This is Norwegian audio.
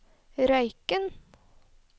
Røyken